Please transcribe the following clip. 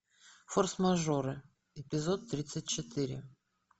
форс мажоры эпизод тридцать четыре